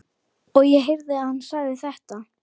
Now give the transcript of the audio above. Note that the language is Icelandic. Og ég heyrði að hann sagði þetta.